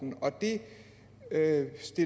det lader